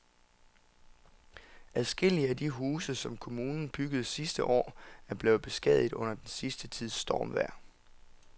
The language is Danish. Adskillige af de huse, som kommunen byggede sidste år, er blevet beskadiget under den sidste tids stormvejr.